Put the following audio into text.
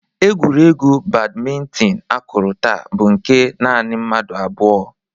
Egwuregwu badmintin akụrụ taa bụ nke nanị mmadụ abụọ.